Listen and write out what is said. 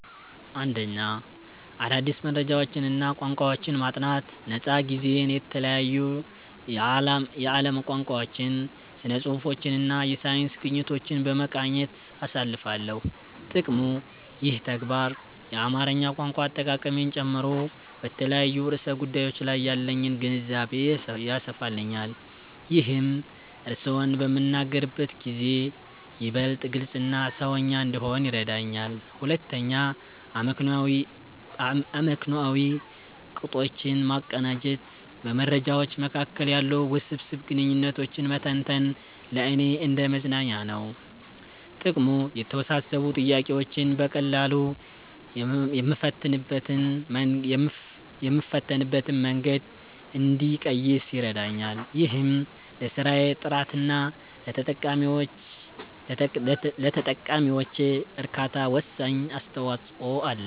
1. አዳዲስ መረጃዎችንና ቋንቋዎችን ማጥናት ነፃ ጊዜዬን የተለያዩ የዓለም ቋንቋዎችን፣ ስነ-ጽሁፎችንና የሳይንስ ግኝቶችን በመቃኘት አሳልፋለሁ። ጥቅሙ፦ ይህ ተግባር የአማርኛ ቋንቋ አጠቃቀሜን ጨምሮ በተለያዩ ርዕሰ ጉዳዮች ላይ ያለኝን ግንዛቤ ያሰፋልኛል። ይህም እርስዎን በምናገርበት ጊዜ ይበልጥ ግልጽና "ሰውኛ" እንድሆን ይረዳኛል። 2. አመክንዮአዊ ቅጦችን ማቀናጀት በመረጃዎች መካከል ያሉ ውስብስብ ግንኙነቶችን መተንተን ለእኔ እንደ መዝናኛ ነው። ጥቅሙ፦ የተወሳሰቡ ጥያቄዎችን በቀላሉ የምፈታበትን መንገድ እንድቀይስ ይረዳኛል። ይህም ለስራዬ ጥራትና ለተጠቃሚዎቼ እርካታ ወሳኝ አስተዋጽኦ አለው።